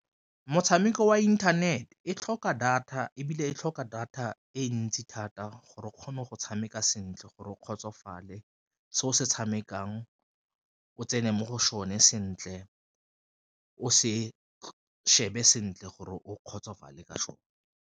Motshameko wa internet e tlhoka data ebile e tlhoka data e ntsi thata gore o kgone go tshameka sentle gore o kgotsofale se o se tshamekang, o tsene mo go sone sentle o se shebe sentle gore o kgotsofala ka sone.